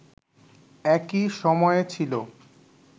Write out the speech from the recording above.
একই সময়ে ছিল